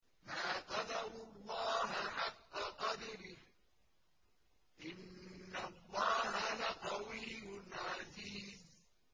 مَا قَدَرُوا اللَّهَ حَقَّ قَدْرِهِ ۗ إِنَّ اللَّهَ لَقَوِيٌّ عَزِيزٌ